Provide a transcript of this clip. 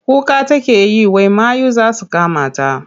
Kuka take yi wai mayu za su kamata.